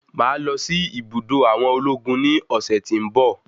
Mo máa lọsí ibùdó àwọn ológun ní ọ̀sẹ̀ tí ń bọ̀.